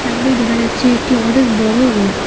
সামনেই দেখা যাচ্ছে একটি অনেক বড়ো রোড ।